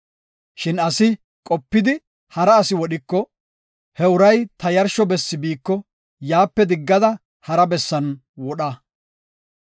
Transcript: Shin asi qopidi hara asi wodhiko, he uray ta yarsho bessi biiko yaape diggada hara bessan wodha.